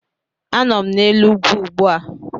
Anọ m n'elu ugwu ugbu a